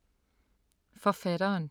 Forfatteren